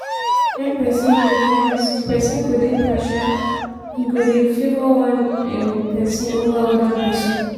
when person dey bias di person go dey partial e go dey favour one um person over oda person